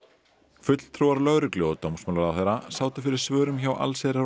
fulltrúar lögreglu og dómsmálaráðherra sátu fyrir svörum hjá allsherjar og